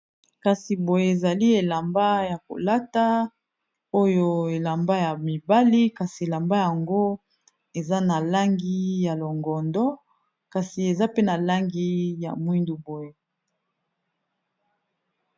kasi boye ezali elamba ya kolata oyo elamba ya mibali kasi elamba yango eza na langi ya longondo kasi eza pe na langi ya mwindu boye